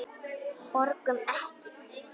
Borgum Ekki!